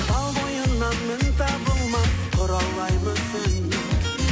тал бойыңнан мін табылмас құралай мүсін